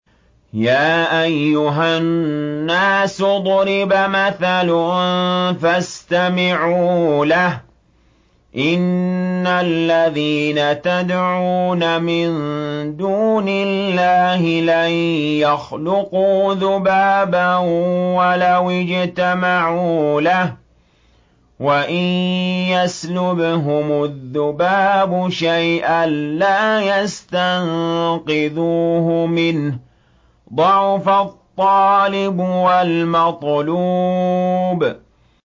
يَا أَيُّهَا النَّاسُ ضُرِبَ مَثَلٌ فَاسْتَمِعُوا لَهُ ۚ إِنَّ الَّذِينَ تَدْعُونَ مِن دُونِ اللَّهِ لَن يَخْلُقُوا ذُبَابًا وَلَوِ اجْتَمَعُوا لَهُ ۖ وَإِن يَسْلُبْهُمُ الذُّبَابُ شَيْئًا لَّا يَسْتَنقِذُوهُ مِنْهُ ۚ ضَعُفَ الطَّالِبُ وَالْمَطْلُوبُ